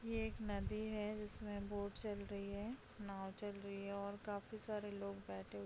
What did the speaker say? ये एक नदी है जिसमें बोट चल रही है नाव चल रही है और काफी सारे लोग बैठे --